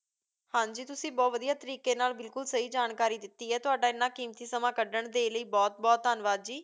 ਹਾਂ ਜੀ, ਤੁਸੀਂ ਬਹੁਤ ਵਧੀਆ ਤਰੀਕੇ ਨਾਲ ਬਿਲਕੁਲ ਸਹੀ ਜਾਣਕਾਰੀ ਦਿੱਤੀ ਹੈ, ਤੁਹਾਡਾ ਐਨਾ ਕੀਮਤੀ ਸਮਾਂ ਕੱਢਣ ਦੇ ਲਈ ਬਹੁਤ ਬਹੁਤ ਧੰਨਵਾਦ ਜੀ।